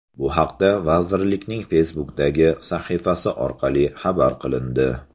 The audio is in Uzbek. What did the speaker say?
Bu haqda vazirlikning Facebook’dagi sahifasi orqali xabar qilindi .